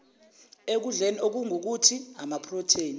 ekudleni okungukuthi amaprotheni